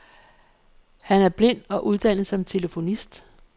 Han er blind og uddannet som telefonist.